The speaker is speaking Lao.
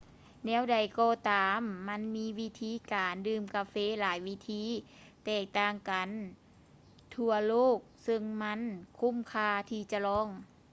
ແນວໃດກໍຕາມ ມັນມີວິທີການດື່ມກາເຟຫຼາຍວິທີທີ່ແຕກຕ່າງກັນທົ່ວໂລກເຊິ່ງມັນຄຸ້ມຄ່າທີ່ຈະລອງ